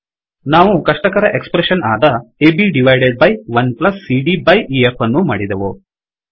ನಾವು ಕಷ್ಟಕರ expression ಆದ ಅಬ್ ಡೈವ್ಡೆಡ್ byಡಿವೈಡೆಡ್ ಬೈ 1 ಸಿಡಿಯ byಬೈ ಇಎಫ್ ಅನ್ನೂ ಮಾಡಿದೆವು